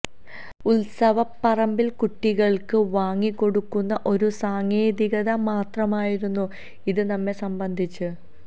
ഉല്സവപ്പറമ്പില് കുട്ടികള്ക്ക് വാങ്ങിക്കൊടുക്കുന്ന ഒരു സാങ്കേതികത മാത്രമായിരുന്നു ഇത് നമ്മെ സംബന്ധിച്ച്